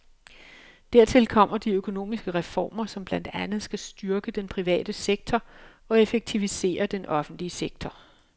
Dertil kommer de økonomiske reformer, som blandt andet skal styrke den private sektor og effektivisere den offentlige sektor.